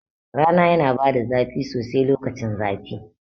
Rana yana bada zafi sosai lokacin zafi